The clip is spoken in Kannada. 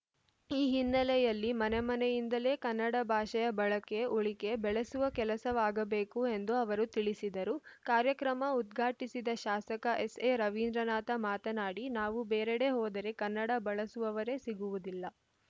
ಈ ಹಿನ್ನೆಲೆಯಲ್ಲಿ ಮನೆ ಮನೆಯಿಂದಲೇ ಕನ್ನಡ ಭಾಷೆಯ ಬಳಕೆ ಉಳಿಕೆ ಬೆಳೆಸುವ ಕೆಲಸವಾಗಬೇಕು ಎಂದು ಅವರು ತಿಳಿಸಿದರು ಕಾರ್ಯಕ್ರಮ ಉದ್ಘಾಟಿಸಿದ ಶಾಸಕ ಎಸ್‌ಎ ರವೀಂದ್ರನಾಥ ಮಾತನಾಡಿ ನಾವು ಬೇರೆಡೆ ಹೋದರೆ ಕನ್ನಡ ಬಳಸುವವರೇ ಸಿಗುವುದಿಲ್ಲ